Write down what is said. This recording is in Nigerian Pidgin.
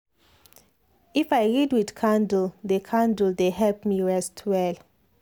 if i read with candle dey candle dey help me rest well.